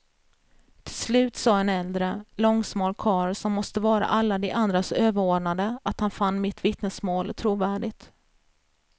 Till slut sa en äldre, långsmal karl som måste vara alla de andras överordnade att han fann mitt vittnesmål trovärdigt.